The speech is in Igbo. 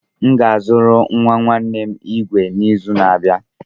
Aga m azụrụ nwa nwanne m igwe igwe n'izu na-abịa.